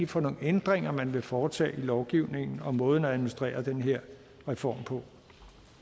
for nogle ændringer man vil foretage i lovgivningen og måden at administrere den her reform på